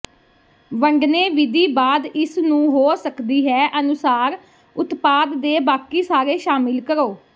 ਵੰਡਣੇ ਵਿਧੀ ਬਾਅਦ ਇਸ ਨੂੰ ਹੋ ਸਕਦੀ ਹੈ ਅਨੁਸਾਰ ਉਤਪਾਦ ਦੇ ਬਾਕੀ ਸਾਰੇ ਸ਼ਾਮਿਲ ਕਰੋ